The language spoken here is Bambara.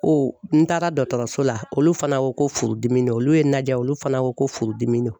n taara dɔtɔrɔso la olu fana ko ko furudimi don; olu ye najɛ olu fana ko ko furudimi don.